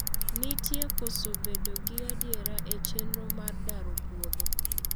nitie koso bedo gi adiera e chenro mar daro puodho